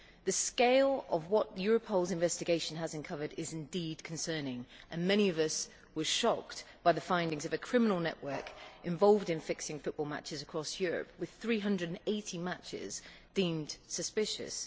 The scale of what Europol's investigation has uncovered is indeed concerning. Many of us were shocked by the finding that there is a criminal network involved in fixing football matches across Europe, with 380 matches deemed suspicious.